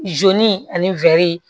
ani